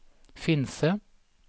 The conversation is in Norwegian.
Finse